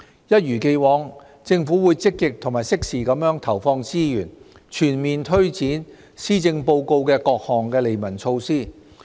一如既往，政府會積極及適時地投放資源，全面推展施政報告的各項利民措施。